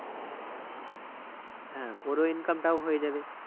হ্যাঁ, ওরও income টাও হয়েযাবে